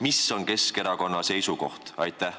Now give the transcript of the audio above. Mis on Keskerakonna seisukoht?